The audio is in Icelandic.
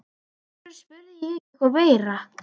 Af hverju spurði ég ekki eitthvað meira?